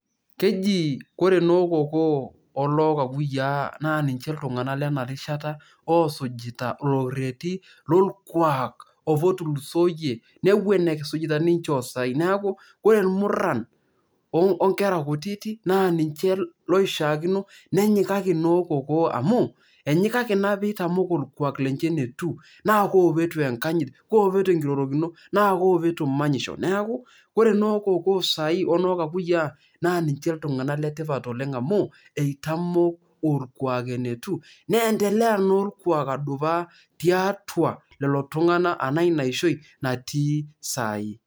Keji ore nokokoo olokakuyiaa na ninche iltung'anak lenarishata osujita olorrerri lorkuak apa otulusoyie, neeku eton esujita ake ninche osai. Neeku ore irmurran onkera kutitik na ninche loishaakino nenyikaki nokokoo amu, enyikaki naa peitamok orkuak linche enetiu, na ko petua enkanyit, ko petua enkirorokino, na ko petua manyisho, neeku ore nokokoo sai onookakuyia, ninche iltung'anak letipat oleng' amu, etamoo orkuak enetiu, neendelea na orkuak adupa tiatua lolotung'anak anaa inaishoi, natii saii.